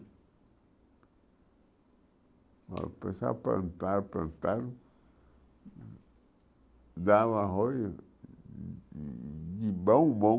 Aí começaram a plantar, plantaram, dava arroz de bom bom.